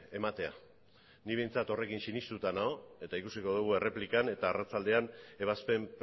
ematea ni behintzat horrekin sinestuta nago eta ikusiko dugu erreplikan eta arratsaldean ebazpen